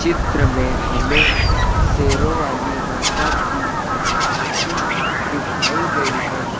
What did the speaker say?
चित्र में हमें शेरों वाली माता की झांकी दिखाई गई है।